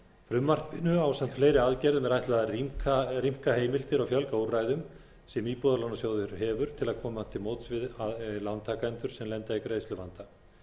frumvarpinu ásamt fleiri aðgerðum er ætlað að rýmka heimildir og fjölga úrræðum sem íbúðalánasjóður hefur til að koma til móts við lántakendur sem lenda í greiðsluvanda